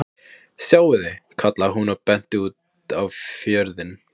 Sjáiði, kallaði hún og benti út á fjörðinn.